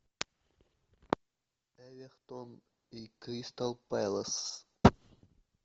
эвертон и кристал пэлас